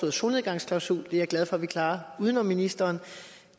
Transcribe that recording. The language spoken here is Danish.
en solnedgangsklausul og det er jeg glad for at vi klarer uden om ministeren